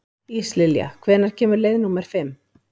Íslilja, hvenær kemur leið númer fimm?